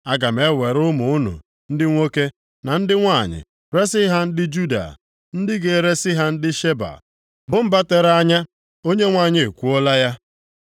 Aga m ewere ụmụ unu ndị nwoke na ndị nwanyị resi ha ndị Juda, ndị ga-eresi ha ndị Sheba, bụ mba tere anya.” Onyenwe anyị ekwuola ya.